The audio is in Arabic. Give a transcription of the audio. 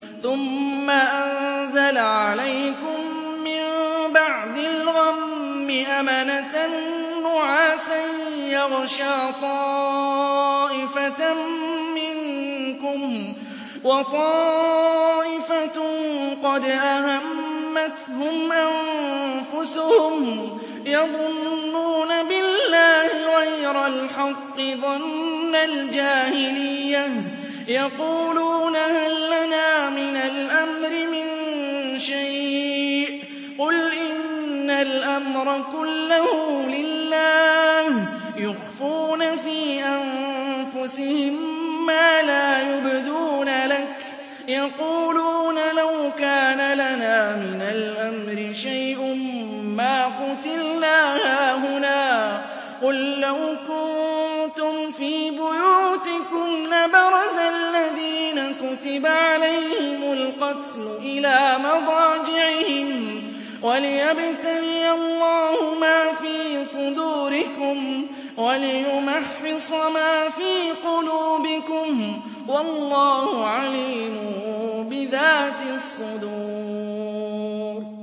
ثُمَّ أَنزَلَ عَلَيْكُم مِّن بَعْدِ الْغَمِّ أَمَنَةً نُّعَاسًا يَغْشَىٰ طَائِفَةً مِّنكُمْ ۖ وَطَائِفَةٌ قَدْ أَهَمَّتْهُمْ أَنفُسُهُمْ يَظُنُّونَ بِاللَّهِ غَيْرَ الْحَقِّ ظَنَّ الْجَاهِلِيَّةِ ۖ يَقُولُونَ هَل لَّنَا مِنَ الْأَمْرِ مِن شَيْءٍ ۗ قُلْ إِنَّ الْأَمْرَ كُلَّهُ لِلَّهِ ۗ يُخْفُونَ فِي أَنفُسِهِم مَّا لَا يُبْدُونَ لَكَ ۖ يَقُولُونَ لَوْ كَانَ لَنَا مِنَ الْأَمْرِ شَيْءٌ مَّا قُتِلْنَا هَاهُنَا ۗ قُل لَّوْ كُنتُمْ فِي بُيُوتِكُمْ لَبَرَزَ الَّذِينَ كُتِبَ عَلَيْهِمُ الْقَتْلُ إِلَىٰ مَضَاجِعِهِمْ ۖ وَلِيَبْتَلِيَ اللَّهُ مَا فِي صُدُورِكُمْ وَلِيُمَحِّصَ مَا فِي قُلُوبِكُمْ ۗ وَاللَّهُ عَلِيمٌ بِذَاتِ الصُّدُورِ